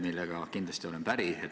Sellega olen kindlasti päri.